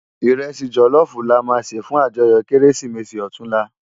Irèsi jòlòfú làmá sé fún àjòyò Kérésimési òtúnlá